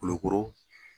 Kolo koro